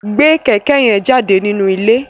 Gbé kẹ̀kẹ́ yẹn jáde nínú ilé!